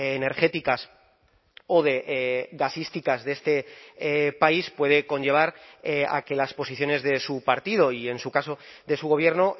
energéticas o de gasísticas de este país puede conllevar a que las posiciones de su partido y en su caso de su gobierno